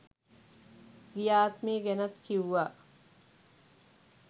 ගිය ආත්මේ ගැනත් කිව්වා.